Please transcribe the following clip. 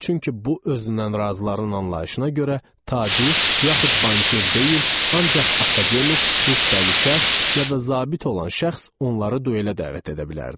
Çünki bu özündən razıların anlayışına görə tacir, yaxud banker deyil, ancaq akademik, rütbəli şəxs yada zabit olan şəxs onları duelə dəvət edə bilərdi.